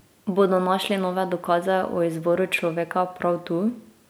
Bodo našli nove dokaze o izvoru človeka prav tu?